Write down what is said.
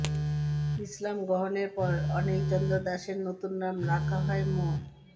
ইসলাম গ্রহণের পর অনিল চন্দ্র দাসের নতুন নাম রাখা হয় মো